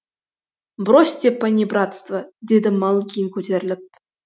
бросьте панибратство деді малыгин көтеріліп